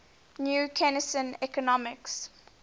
new keynesian economics